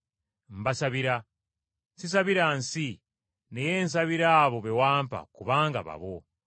Mbasabira. Sisabira nsi, naye nsabira abo be wampa kubanga babo.